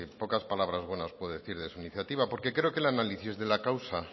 pocas palabras buenas puedo decir de su iniciativa porque creo que el análisis de la causa